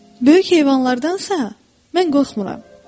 Böyük heyvanlardansa mən qorxmuram.